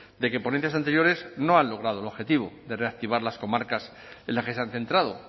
de que ponencias anteriores no han logrado el objetivo de reactivar las comarcas en las que se han centrado